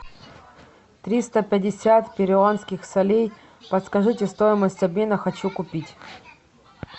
триста пятьдесят перуанских солей подскажите стоимость обмена хочу купить